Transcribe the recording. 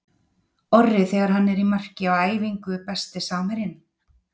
Orri þegar hann er í marki á æfingu Besti samherjinn?